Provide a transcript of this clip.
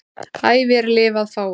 æ vér lifað fáum